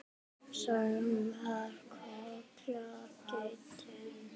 Sagan af Kolla ketti.